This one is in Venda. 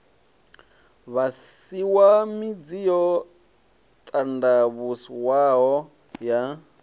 vhasiwa midzi yo ṱandavhuwaho ya